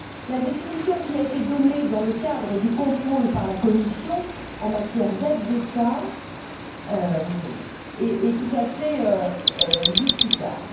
La définition qui a été donnée, dans le cadre du contrôle exercé par la Commission en matière d'aide d'État, est tout à fait discutable.